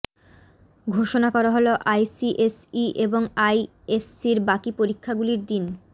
ঘোষণা করা হল আইসিএসই এবং আইএসসির বাকি পরীক্ষাগুলির দিন